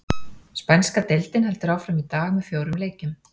Spænska deildin heldur áfram í dag með fjórum leikjum.